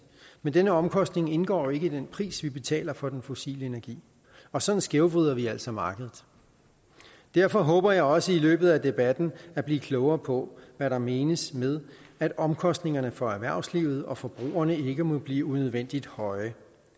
men denne omkostning indgår ikke i den pris vi betaler for den fossile energi og sådan skævvrider vi altså markedet derfor håber jeg også i løbet af debatten at blive klogere på hvad der menes med at omkostningerne for erhvervslivet og forbrugerne ikke må blive unødvendigt høje